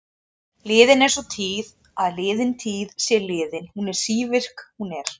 Liðin er sú tíð að liðin tíð sé liðin, hún er sívirk, hún er.